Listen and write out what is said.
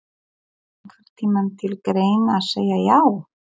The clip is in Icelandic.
Kom einhvern tímann til greina að segja já?